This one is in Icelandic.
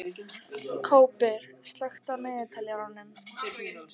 Kópur, slökktu á niðurteljaranum.